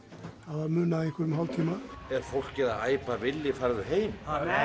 það munaði einhverjum hálftíma er fólkið að æpa villi farðu heim